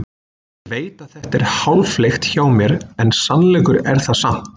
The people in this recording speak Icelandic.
Ég veit að þetta er háfleygt hjá mér en sannleikur er það samt.